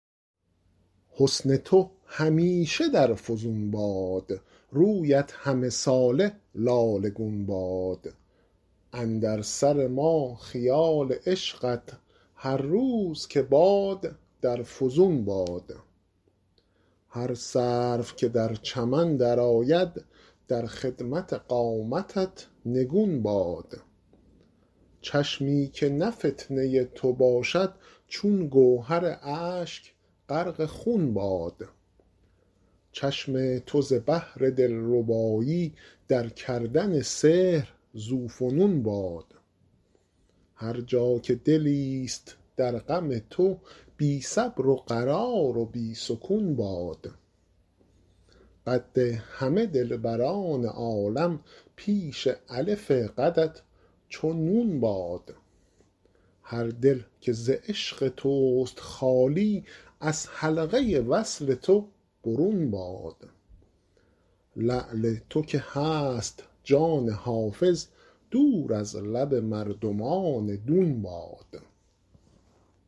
حسن تو همیشه در فزون باد رویت همه ساله لاله گون باد اندر سر ما خیال عشقت هر روز که باد در فزون باد هر سرو که در چمن درآید در خدمت قامتت نگون باد چشمی که نه فتنه تو باشد چون گوهر اشک غرق خون باد چشم تو ز بهر دلربایی در کردن سحر ذوفنون باد هر جا که دلیست در غم تو بی صبر و قرار و بی سکون باد قد همه دلبران عالم پیش الف قدت چو نون باد هر دل که ز عشق توست خالی از حلقه وصل تو برون باد لعل تو که هست جان حافظ دور از لب مردمان دون باد